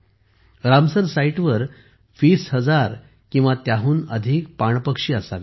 Ramsar साइटवर 20000 किंवा त्याहून अधिक पाणपक्षी असावेत